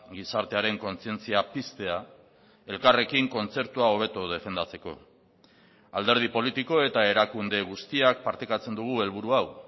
gizartearen kontzientzia piztea elkarrekin kontzertua hobeto defendatzeko alderdi politiko eta erakunde guztiak partekatzen dugu helburu hau